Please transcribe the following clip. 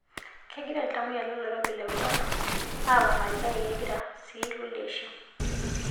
Kegira iltamoyiak lolkirobi le korona aaporani kake kegira sii ilkulie aishiu.